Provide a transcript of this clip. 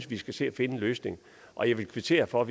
vi skal se at finde en løsning og jeg vil kvittere for